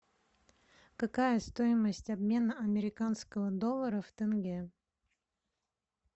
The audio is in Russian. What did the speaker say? какая стоимость обмена американского доллара в тенге